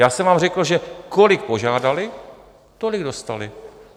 Já jsem vám řekl, že kolik požádali, tolik dostali.